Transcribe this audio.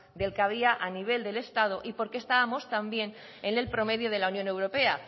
del que había a nivel del estado y por qué estábamos también en el promedio de la unión europea